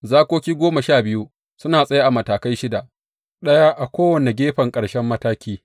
Zakoki goma sha biyu suna tsaye a matakai shida, ɗaya a kowane gefen ƙarshen mataki.